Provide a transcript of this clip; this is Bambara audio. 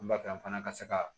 Ba fɛ an fana ka se ka